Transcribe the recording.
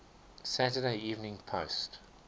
saturday evening post